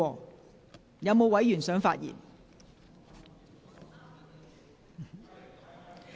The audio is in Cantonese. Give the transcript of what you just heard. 是否有委員想發言？